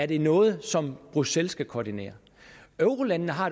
det er noget som bruxelles skal koordinere eurolandene har